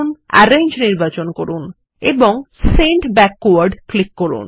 arrange নির্বাচন করুন এবং সেন্ড ব্যাকওয়ার্ড ক্লিক করুন